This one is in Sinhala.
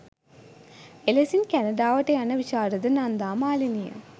එලෙසින් කැනඩාවට යන විශාරද නන්දා මාලනිය